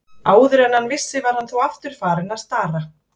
Áður en hann vissi var hann þó aftur farinn að stara.